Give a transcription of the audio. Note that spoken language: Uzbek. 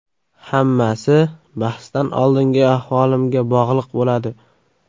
Hammasi bahsdan oldingi ahvolimga bog‘liq bo‘ladi.